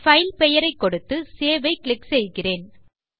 file பெயரை கொடுத்து save ஐ கிளிக் செய்கிறேன்